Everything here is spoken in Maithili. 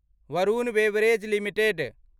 Varun beverage limited